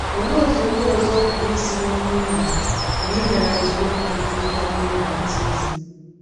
Olee otú ndị ọzọ pụrụ isi nweta uru mgbe i mere nzọụkwụ nke ịga mmiri baptizim?